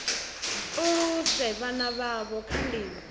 aluse vhana vhavho nga nḓila